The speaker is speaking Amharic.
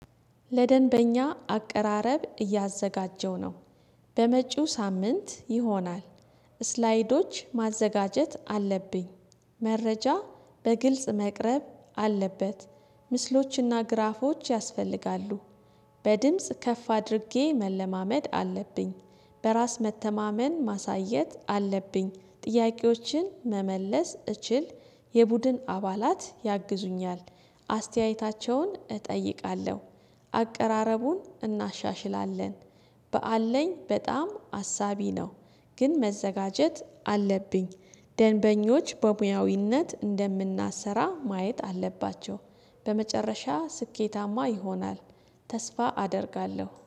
ለደንበኛ አቀራረብ እያዘጋጀሁ ነው በመጪው ሳምንት ይሆናል። ስላይዶች ማዘጋጀት አለብኝ። መረጃ በግልጽ መቅረብ አለበት፤ ምስሎችና ግራፎች ያስፈልጋሉ። በድምጽ ከፍ አድርጌ መለማመድ አለብኝ። በራስ መተማመን ማሳየት አለብኝ ጥያቄዎችን መመለስ እችል። የቡድን አባላት ያግዙኛል። አስተያየታቸውን እጠይቃለሁ። አቀራረቡን እናሻሽላለን። በአለኝ በጣም አሳቢ ነው። ግን መዘጋጀት አለብኝ። ደንበኞች በሙያዊነት እንደምናሰራ ማየት አለባቸው። በመጨረሻ ስኬታማ ይሆናል። ተስፋ አደርጋለሁ፤